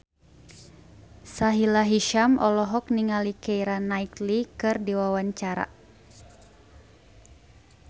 Sahila Hisyam olohok ningali Keira Knightley keur diwawancara